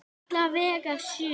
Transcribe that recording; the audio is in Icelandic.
Alla vega sjö.